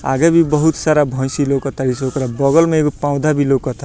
आगे भी बहुत सारी भैंसी लउकतारी स ओकरा बगल में एगो पौंधा भी लउकता।